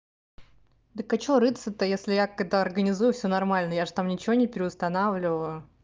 да-к а что рыться-то если я когда организую все нормально я же там ничего не переустанавливаю